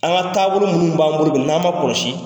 An ka taabolo minnu b'an bolo bi n'an m'an kɔlɔsi